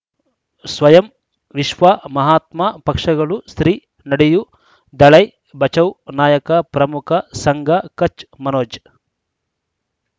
ಸ್ವಯಂ ವಿಶ್ವ ಮಹಾತ್ಮ ಪಕ್ಷಗಳು ಶ್ರೀ ನಡೆಯೂ ದಲೈ ಬಚೌ ನಾಯಕ ಪ್ರಮುಖ ಸಂಘ ಕಚ್ ಮನೋಜ್